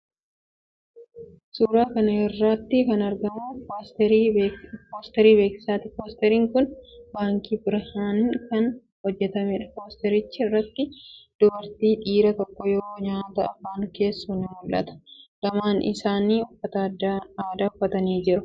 Suuraa kana irratti kan argamu poosterii beeksisaati. Poosteriin kun baankii 'Birhaanii'n kan hojjetameedha. Poostericha irratti dubartiin dhiira tokko yoo nyaata afaan keessu ni mul'ata. Lamaan isaanii uffata aadaa uffatanii jiru. Halluun duuba isaa bifa keelloo kan qabuudha.